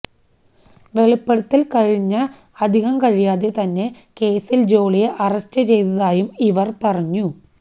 വെളിപ്പെടുത്തല് കഴിഞ്ഞ അധികം കഴിയാതെ തന്നെ കേസില് ജോളിയെ അറസ്റ്റ് ചെയ്തതായും ഇവര് പറഞ്ഞു